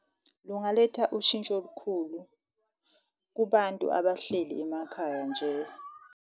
Lungaletha ushintsho olukhulu kubantu abahleli emakhaya nje.